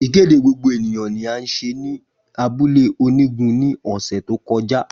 Ikede gbogbo eniyan ni a ṣe ni abule onigun ni ọsẹ to kọja.